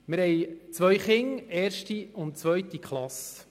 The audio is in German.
Wir haben zwei Kinder, in der ersten und zweiten Klasse.